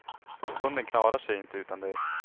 Hunden klarar sig inte utan dig.